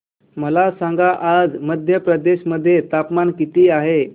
मला सांगा आज मध्य प्रदेश मध्ये तापमान किती आहे